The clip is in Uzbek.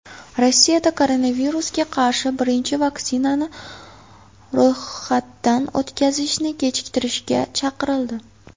Rossiyada koronavirusga qarshi birinchi vaksinani ro‘yxatdan o‘tkazishni kechiktirishga chaqirildi.